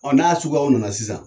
Ɔ n'a suguyaw nana sisan